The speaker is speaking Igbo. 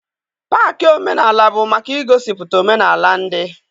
Paakị omenaala bụ maka igosipụta omenaala ndị.